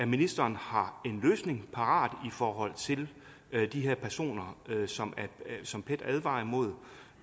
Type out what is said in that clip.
ministeren har en løsning parat i forhold til de her personer som pet advarer imod